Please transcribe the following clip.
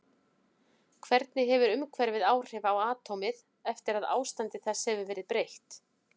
Hvernig hefur umhverfið áhrif á atómið eftir að ástandi þess hefur verið breytt?